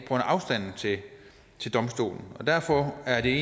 af afstanden til domstolen derfor er det